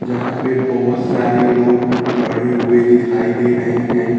यहां पे बोहोत सारे लोग खड़े हुए दिखाई दे रहे हैं।